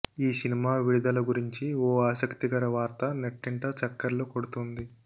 ఈ సినిమా విడుదల గురించి ఓ ఆసక్తికర వార్త నెట్టింట చక్కర్లు కొడుతోంది